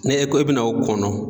Ne e ko e be n'o kɔnɔ